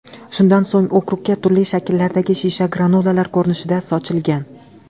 Shundan so‘ng okrugga turli shakllardagi shisha granulalar ko‘rinishida sochilgan.